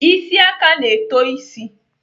Isi aka na-eto isi.